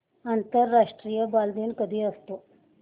आंतरराष्ट्रीय बालदिन कधी असतो